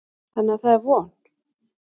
Þannig að það er von.